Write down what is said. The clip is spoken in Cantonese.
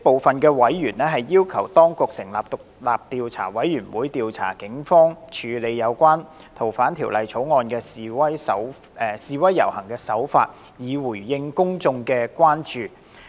這些委員要求當局成立獨立調查委員會，調查警方處理有關修訂《逃犯條例》的示威遊行的手法，以回應公眾的關注。